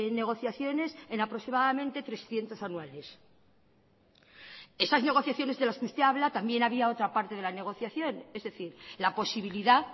negociaciones en aproximadamente trescientos anuales esas negociaciones de las que usted habla también había otra parte de la negociación es decir la posibilidad